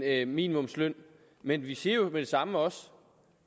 en minimumsløn men vi siger jo med det samme også